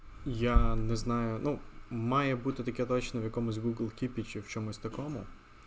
я не знаю ну мама я буду таким человеком с кирпич в чем это кому